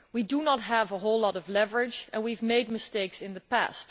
We do not have a whole lot of leverage and we have made mistakes in the past.